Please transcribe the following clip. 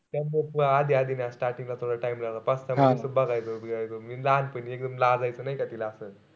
त मग आधी-आधी starting ला थोडं time लावला. पाच-सहा नुसतं बघायचो. मी लहानपणी एकदम लाजायचो नाई का तिला असं.